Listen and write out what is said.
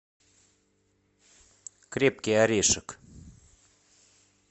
крепкий орешек